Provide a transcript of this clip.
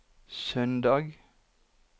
søndag